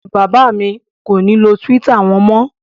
Bàbá mi kò ní lo Twitter wọn mọ́.